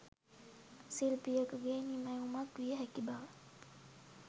ශිල්පියකුගේ නිමැවුමක් විය හැකි බව